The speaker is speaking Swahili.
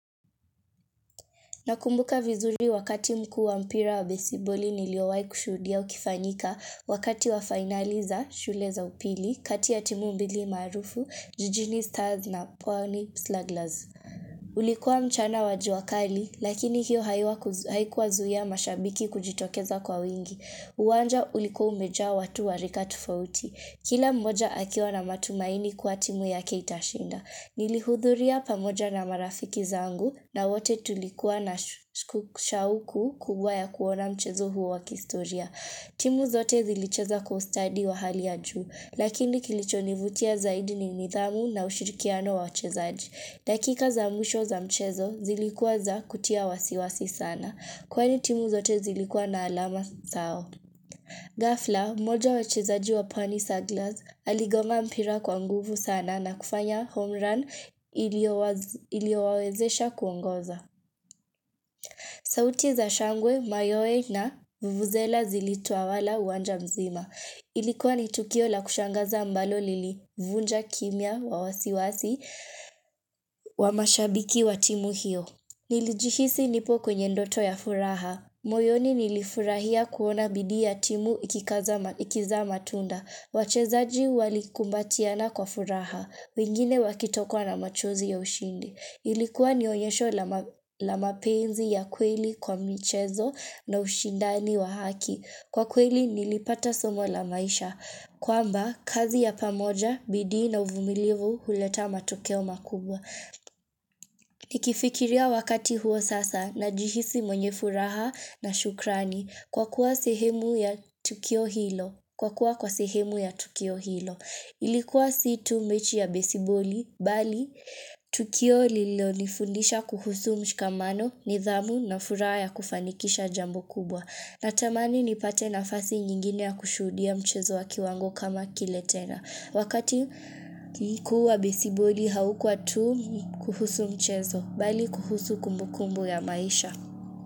Nakumbuka vizuri wakati mkuu wa mpira wa besiboli niliowaikushuhudia ukifanyika wakati wa finali za shule za upili, kati ya timu mbili maarufu, ''jijini stars'' na ''pwani slugglers''. Ulikuwa mchana wa jua kali, lakini hiyo haikuwazuia mashabiki kujitokeza kwa wingi. Uwanja ulikuwa umejaa watu wa rika tofauti. Kila mmoja akiwa na matumaini kuwa timu yake itashinda. Nilihudhuria pamoja na marafiki zangu na wote tulikuwa na shauku kubwa ya kuona mchezo huo wa kihistoria. Timu zote zilicheza kwa ustadi wa hali ya juu, lakini kilicho nivutia zaidi ni nidhamu na ushirikiano wa wachezaji. Dakika za mwisho za mchezo zilikuwa za kutia wasiwasi sana, kwani timu zote zilikuwa na alama sawa. Ghafla, mmoja wa wachezaji wa ''pwani sugglers'', aligonga mpira kwa nguvu sana na kufanya ''home run'' iliowawezesha kuongoza sauti za shangwe, mayowe na vuvuzela zilitawala uwanja mzima Ilikuwa ni tukio la kushangaza ambalo lilivunja kimya wa wasiwasi wa mashabiki wa timu hiyo Nilijihisi nipo kwenye ndoto ya furaha moyoni nilifurahia kuona bidii timu ikizaa matunda. Wachezaji walikumbatiana kwa furaha. Wengine wakitokwa na machozi ya ushindi. Ilikuwa ni onyesho la mapenzi ya kweli kwa michezo na ushindani wa haki. Kwa kweli nilipata somo la maisha. Kwamba, kazi ya pamoja, bidii na uvumilivu huleta matokeo makubwa. Nikifikiria wakati huo sasa najihisi mwenye furaha na shukrani kwa kuwa sehemu ya Tukio Hilo. Ilikuwa si tu mechi ya besiboli, bali, Tukio lilo lilinifundisha kuhusu mshikamano, nidhamu na furaha ya kufanikisha jambo kubwa. Natamani nipate nafasi nyingine ya kushuhudia mchezo wa kiwango kama kile tena. Wakati kuu wa besiboli haukuwa tu kuhusu mchezo bali kuhusu kumbukumbu ya maisha.